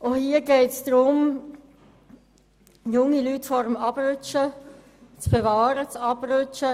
Es geht darum, junge Leute vor dem Abrutschen